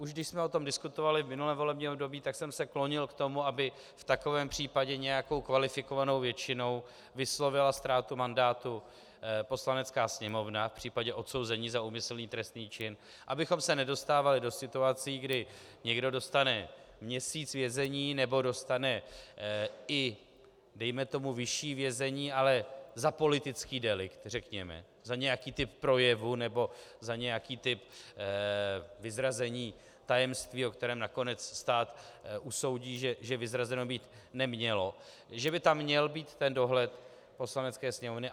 Už když jsme o tom diskutovali v minulém volebním období, tak jsem se klonil k tomu, aby v takovém případě nějakou kvalifikovanou většinou vyslovila ztrátu mandátu Poslanecká sněmovna v případě odsouzení za úmyslný trestný čin, abychom se nedostávali do situací, kdy někdo dostane měsíc vězení nebo dostane i dejme tomu vyšší vězení, ale za politický delikt, řekněme, za nějaký typ projevu nebo za nějaký typ vyzrazení tajemství, o kterém nakonec stát usoudí, že vyzrazeno být nemělo, že by tam měl být ten dohled Poslanecké sněmovny.